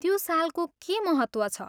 त्यो सालको के महत्त्व छ?